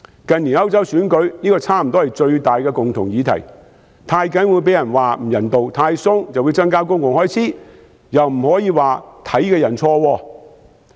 近年歐洲選舉，這差不多是最大的共同議題，太嚴謹會被人批評不人道，太寬鬆又會增加公共開支，但是，又不能說有這看法的人錯誤。